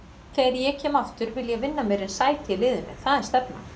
Þegar ég kem aftur vil ég vinna mér inn sæti í liðnu, það er stefnan.